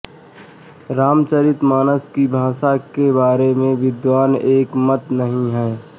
रामचरितमानस की भाषा के बारे में विद्वान एकमत नहीं हैं